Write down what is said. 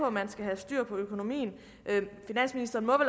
at man skal have styr på økonomien men finansministeren må